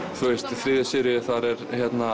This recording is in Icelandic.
í þriðju seríu þar er